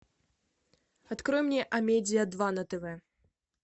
открой мне амедиа два на тв